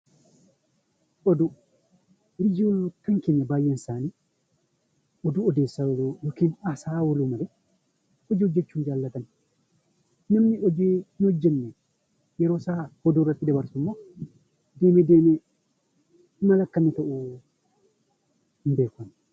Oduu Oduun baayyeen isaanii oduu odeessaa ooluu yookaan haasawaa ooluu dubbachuu jaallatan. Namni hojii hin hojjenne yeroo isaa oduu irratti dabarsu immoo deemee deemee maal akka inni ta'u hin beeku.